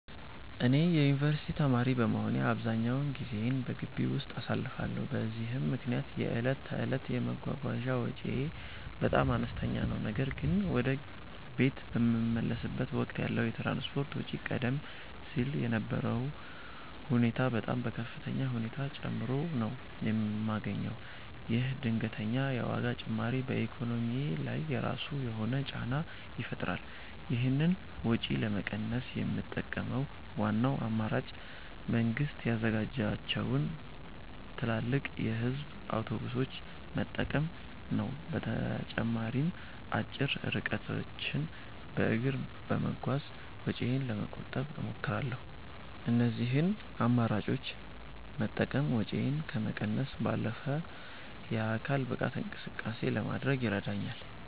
እኔ የዩኒቨርሲቲ ተማሪ በመሆኔ አብዛኛውን ጊዜዬን በግቢ ውስጥ አሳልፋለሁ፤ በዚህም ምክንያት የዕለት ተዕለት የመጓጓዣ ወጪዬ በጣም አነስተኛ ነው። ነገር ግን ወደ ቤት በምመለስበት ወቅት ያለው የትራንስፖርት ወጪ ቀደም ሲል ከነበረው ሁኔታ በጣም በከፍተኛ ሁኔታ ጨምሮ ነው የማገኘው። ይህ ድንገተኛ የዋጋ ጭማሪ በኢኮኖሚዬ ላይ የራሱ የሆነ ጫና ይፈጥራል። ይህንን ወጪ ለመቀነስ የምጠቀመው ዋናው አማራጭ መንግስት ያዘጋጃቸውን ትላልቅ የህዝብ አውቶቡሶች መጠቀም ነው። በተጨማሪም አጭር ርቀቶችን በእግር በመጓዝ ወጪዬን ለመቆጠብ እሞክራለሁ። እነዚህን አማራጮች መጠቀም ወጪን ከመቀነስ ባለፈ የአካል ብቃት እንቅስቃሴ ለማድረግም ይረዳኛል።